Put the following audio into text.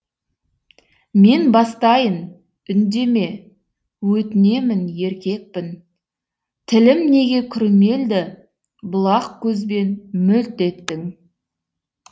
мен бастайын үндеме өтінемін еркекпін тілім неге күрмелді бұлақ көзбен мөлт еттің